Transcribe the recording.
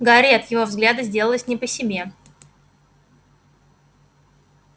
гарри от его взгляда сделалось не по себе